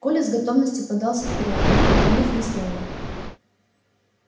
коля с готовностью подался вперёд не проронив ни слова